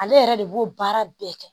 Ale yɛrɛ de b'o baara bɛɛ kɛ